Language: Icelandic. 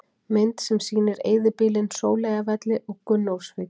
Mynd sem sýnir eyðibýlin Sóleyjarvelli og Gunnólfsvík.